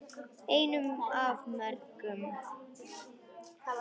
Einu af mörgum.